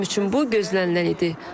Mənim üçün bu gözlənilən idi.